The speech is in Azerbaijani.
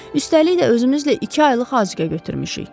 Üstəlik də, özümüzlə iki aylıq azuqə götürmüşük.